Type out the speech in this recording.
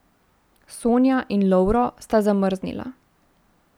Sonja in Lovro sta zamrznila.